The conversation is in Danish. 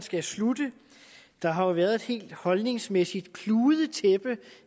skal slutte der har været et helt holdningsmæssigt kludetæppe